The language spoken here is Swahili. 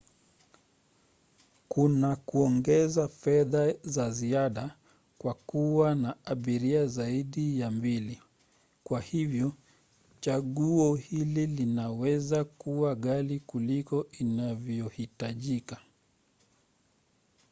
kuna kuongeza fedha za ziada kwa kuwa na abiria zaidi ya 2 kwa hivyo chaguo hili linaweza kuwa ghali kuliko inavyohitajika